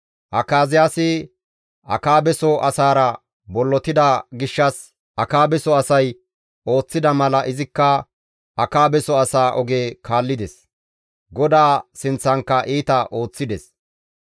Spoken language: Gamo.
Akaziyaasi Akaabeso asaara bollotida gishshas Akaabeso asay ooththida mala izikka Akaabeso asaa oge kaallides; GODAA sinththankka iita ooththides.